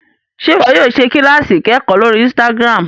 Ṣe iwọ yóò ṣe kilasi ikẹkọ lórí Instagram?